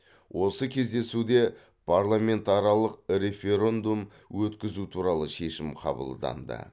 осы кездесуде парламентаралық референдум өткізу туралы шешім қабылданды